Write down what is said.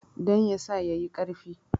Don ya sa ya yi ƙarfi.